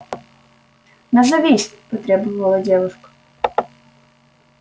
назовись потребовала девушка